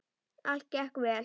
Allt gekk vel.